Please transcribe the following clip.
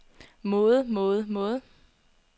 måde måde måde